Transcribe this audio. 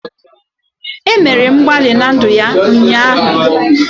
E mere mgbalị na ndụ ya ụnyaahụ